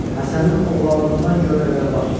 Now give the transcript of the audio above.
Həsənin oğlanlığından gör nə qədər vaxt keçir.